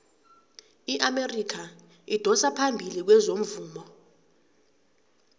iamerika idosa phambili kezomvumo